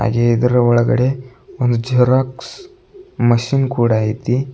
ಹಾಗೆ ಇದರ ಒಳಗಡೆ ಒಂದು ಜೆರಾಕ್ಸ್ ಮಷೀನ್ ಕೂಡ ಐತಿ.